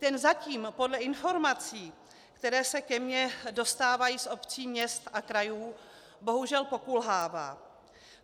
Ten zatím podle informací, které se ke mně dostávají z obcí, měst a krajů, bohužel pokulhává.